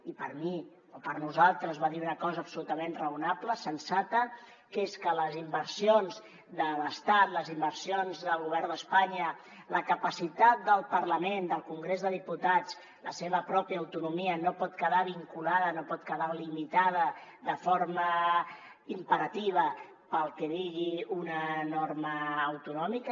i per mi o per nosaltres va dir una cosa absolutament raonable sensata que és que les inversions de l’estat les inversions del govern d’espanya la capacitat del parlament del congrés dels diputats la seva pròpia autonomia no pot quedar vinculada no pot quedar limitada de forma imperativa pel que digui una norma autonòmica